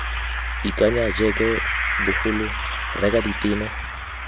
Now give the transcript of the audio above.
ikanya jeke bogolo reka ditene